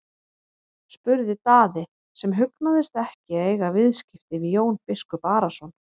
spurði Daði sem hugnaðist ekki að eiga skipti við Jón biskup Arason.